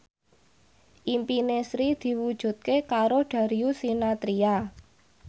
impine Sri diwujudke karo Darius Sinathrya